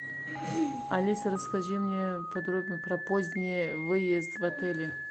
алиса расскажи мне подробно про поздний выезд в отеле